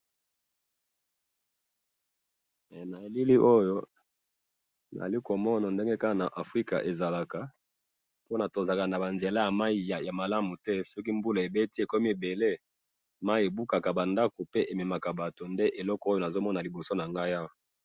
Na elili oyo nazomona ndenge kaka na Africa ezalaka po tozalaka nabanzela ya mayi yamalamu te, soki mbula ebeti ekomi ebele, mayi ebukaka bandaku pe ememaka batu nde eloko oyo nazomona liboso nangayi awa